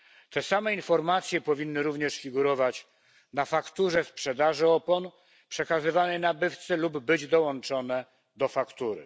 Te same informacje powinny również figurować na fakturze sprzedaży opon przekazywanej nabywcy lub być dołączone do faktury.